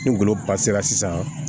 Ni goloba sera sisan